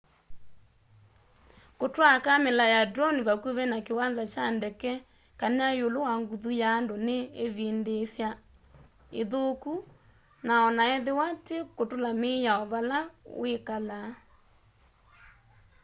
kutwaa kamela ya drone vakuvi na kiwanza kya ndeke kana iulu wa nguthu ya andu ni ivindiisya ithuku o na ethiwa ti kutula miao vala wikalaa